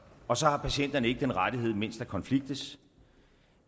og så har patienterne ikke den rettighed mens der konfliktes